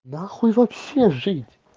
нахуй вообще жить